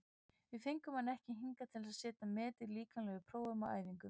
Við fengum hann ekki hingað til að setja met í líkamlegum prófum á æfingum.